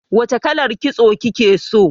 Wace kalar. kitso kike so?